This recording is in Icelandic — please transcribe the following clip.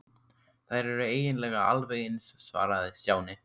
Þær eru eiginlega alveg eins svaraði Stjáni.